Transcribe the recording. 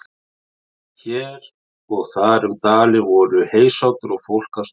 Hér og þar um dalinn voru heysátur og fólk að störfum.